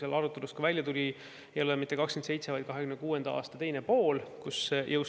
Nagu arutelust välja tuli, ei ole jõustumisaeg mitte 2027. aasta, vaid on 2026. aasta teine pool.